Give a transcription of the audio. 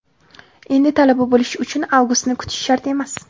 endi Talaba bo‘lish uchun Avgustni kutish shart emas!.